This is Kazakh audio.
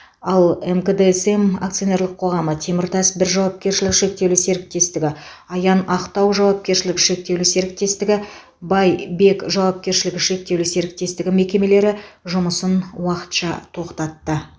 ал мкдсм акционерлік қоғамы теміртас бір жауапкершілігі шектеулі серіктестігі аян ақтау жауапкершілігі шектеулі серіктестігі бай бег жауапкершілігі шектеулі серіктестігі мекемелері жұмысын уақытша тоқтатты